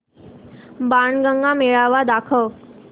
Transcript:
बाणगंगा मेळावा दाखव